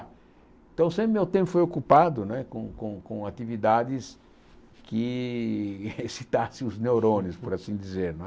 Então, sempre meu tempo foi ocupado né com com com atividades que excitassem os neurônios, por assim dizer não é.